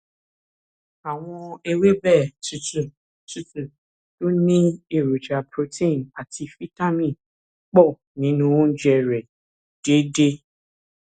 àwọn ewébẹ tútù tútù tó ní ní èròjà protein àti fítámì pọ nínú oúnjẹ rẹ déédéé